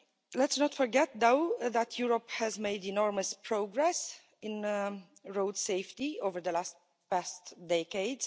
Let's not forget though that Europe has made enormous progress in road safety over the last decade.